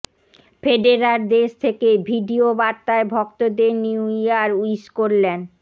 Federer দেশ থেকেই video বার্তায় ভক্তদের নিউ ইয়ার উইশ করলেন